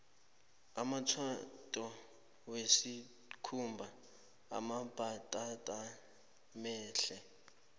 amanyatheto wesikhumba amambatatamahle